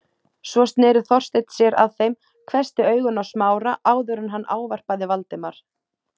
Svo sneri Þorsteinn sér að þeim, hvessti augun á Smára áður en hann ávarpaði Valdimar.